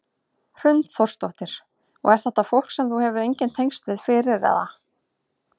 Hrund Þórsdóttir: Og er þetta fólk sem þú hefur engin tengsl við fyrir eða?